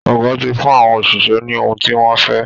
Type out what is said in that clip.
Ọ̀gá ti fún àwọn òṣìṣẹ́ ní ohun tí wọ́n fẹ́